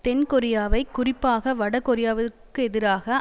தென் கொரியாவை குறிப்பாக வட கொரியாவிற்கெதிராக